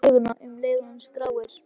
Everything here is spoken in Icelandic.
Hann mótar söguna um leið og hann skráir.